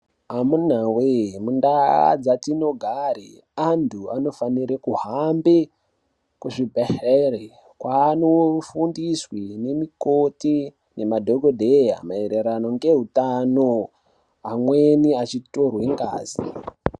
Amunawe!mundau dzatinogare anhu anofanire kuhambe kuzvibhehlere kwaanofundiswe nemakoti nemadhokodheya maererano neutano amweni achitorwe ngazi.